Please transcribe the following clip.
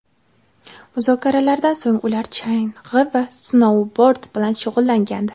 Muzokaralardan so‘ng ular chang‘i va snoubord bilan shug‘ullangandi.